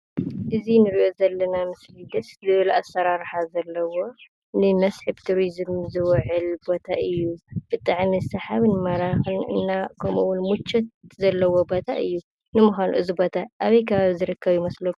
እዙይ እንርእዮ ዘለና ምስሊ ደስ ዝብል ኣሰራርሓ ዘለዎ ንመስሕብ ቱሪዝም ዝውዕል ቦታ እዩ። ብጣዕሚ ስሓብን መራኺን ከምኡ እውን ሙቾት ዘለዎ ቦታ እዩ። ንምዃኑ እዘይ ቦታ ኣበይ ከባቢ ዝርከብ ይመስለኩም?